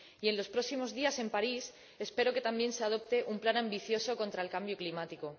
y en los próximos días, en París, espero que también se adopte un plan ambicioso contra el cambio climático.